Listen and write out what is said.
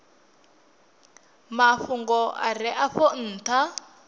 mafhungo a re afho ntha